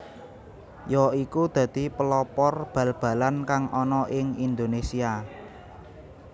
ya iku dadi pelopor bal balan kang ana ing Indonesia